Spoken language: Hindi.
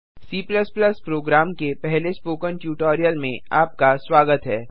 C प्रोग्राम के पहले स्पोकन ट्यूटोरियल में आपका स्वागत है